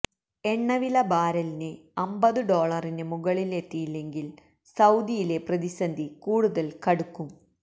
എണ്ണവില ബാരലിന് അമ്പതു ഡോളറിന് മുകളിലെത്തിയില്ലെങ്കില് സൌദിയിലെ പ്രതിസന്ധി കൂടുതല് കടുക്കും